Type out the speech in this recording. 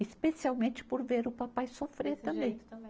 Especialmente por ver o papai sofrer também. Desse jeito também